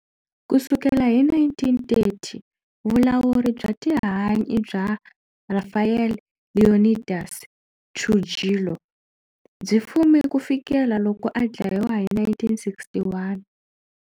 Ku sukela hi 1930, vulawuri bya tihanyi bya Rafael Leónidas Trujillo byi fume ku fikela loko a dlayiwa hi 1961.